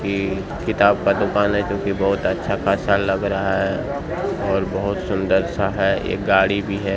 ये किताब का दुकान है जो की बहुत अच्छा-खासा लग रहा है और बहुत सुंदर सा है एक गाड़ी भी है।